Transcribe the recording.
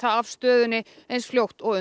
af stöðunni eins fljótt og